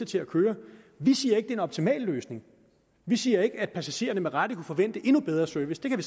til at køre vi siger ikke en optimal løsning vi siger ikke at passagererne ikke med rette kunne forvente endnu bedre service det kan